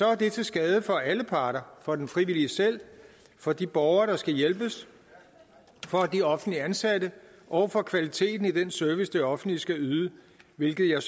er det til skade for alle parter for den frivillige selv for de borgere der skal hjælpes for de offentligt ansatte og for kvaliteten i den service det offentlige skal yde hvilket jeg